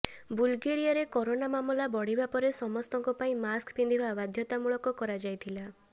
ବୁଲଗେରିଆରେ corona ମାମଲା ବଢିବା ପରେ ସମସ୍ତଙ୍କ ପାଇଁ ମାସ୍କ ପିନ୍ଧିବା ବାଧ୍ୟତାମୂଳକ କରାଯାଇଥିଲା